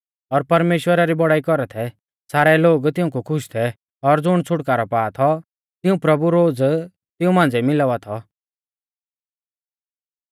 और परमेश्‍वरा री बड़ाई कौरा थै सारै लोग तिऊंकु खुश थै और ज़ुण छ़ुटकारौ पा थौ तिऊं प्रभु रोज़ तिऊं मांझ़िऐ मिलावा थौ